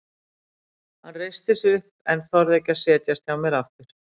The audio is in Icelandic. Hann reisti sig upp en þorði ekki að setjast hjá mér aftur.